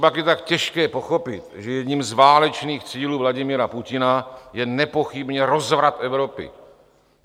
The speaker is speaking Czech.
Copak je tak těžké pochopit, že jedním z válečných cílů Vladimira Putina je nepochybně rozvrat Evropy?